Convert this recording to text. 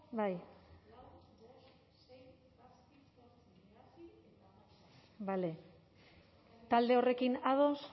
bai bale talde horrekin ados